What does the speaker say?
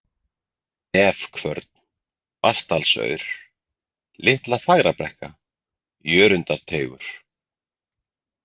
Nefkvörn, Vatndalsaur, Litla-Fagrabrekka, Jörundarteigur